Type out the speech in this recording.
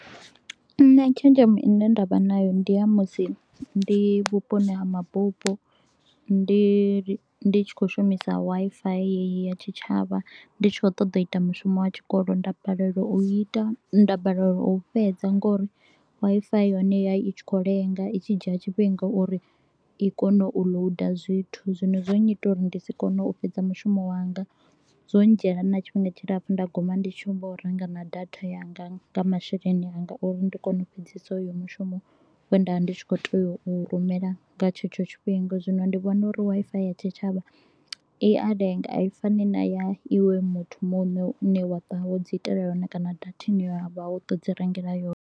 Nṋe tshenzhemo ine nda vha nayo ndi ya musi ndi vhuponi ha mabupo. Ndi ndi tshi kho u shumisa Wi-Fi heyi ya tshitshavha, ndi tshi kho u ṱoḓa u ita mushumo wa tshikolo nda balelwa u i ita, nda balelwa u u fhedza nga uri Wi-Fi ya hone yo vha i tshi kho u lenga, i tshi dzhia tshifhinga uri i kone u loader zwithu. Zwino zwo nnyita uri ndi si kone u fhedza mushumo wanga, zwo ndzhiela na tshifhinga tshilapfu nda guma ndi tshi humbula na u renga na data yanga nga masheleni a nga uri ndi kone u fhedzisa hoyu mushumo. We nda vha ndi tshi kho u tea u u rumela nga tshetsho tshifhinga. Zwino ndi vhona uri Wi-Fi ya tshitshavha i a lenga, a i fani na ya iwe muthu muṋe u ne wa ṱuwa wo dzi itela yone kana datha ine ya vha wo to u dzi rengela yone.